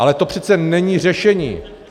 Ale to přece není řešení.